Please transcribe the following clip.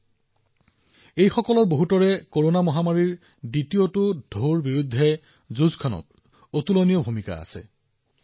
এই সকলোবোৰৰ মাজত বহুতে কৰোনাৰ দ্বিতীয় ঢৌৰ সৈতে যুঁজ দিয়াত ডাঙৰ ভূমিকা পালন কৰিছে